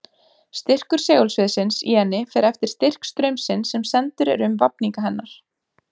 Styrkur segulsviðsins í henni fer eftir styrk straumsins sem sendur er um vafninga hennar.